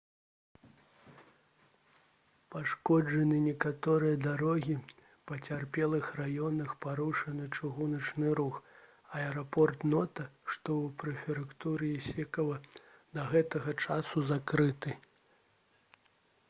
пашкоджаны некаторыя дарогі у пацярпелых раёнах парушаны чыгуначны рух а аэрапорт нота што ў прэфектуры ісікава да гэтага часу закрыты